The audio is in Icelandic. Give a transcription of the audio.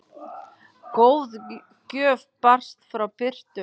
Góð gjöf barst frá Birtu.